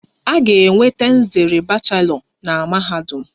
A ga-enweta nzere bachelọ na mahadum.